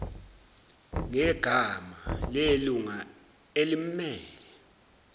ngegama lelunga elimmele